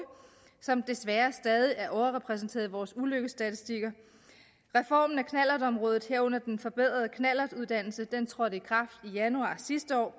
som desværre stadig er overrepræsenteret i vores ulykkesstatistikker reformen af knallertområdet herunder den forbedrede knallertuddannelse trådte i kraft i januar sidste år